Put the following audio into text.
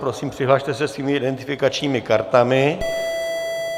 Prosím, přihlaste se svými identifikačními kartami.